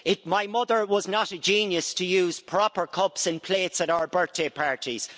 My mother was not a genius to use proper cups and plates at our birthday parties.